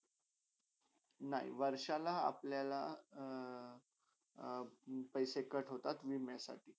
नय, वर्षाला अपल्याला अ अ पैशे cut होतात विमया साठी.